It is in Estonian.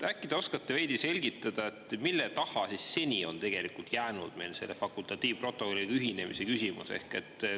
Äkki te oskate veidi selgitada, mille taha seni on jäänud meil selle fakultatiivprotokolliga ühinemise küsimus?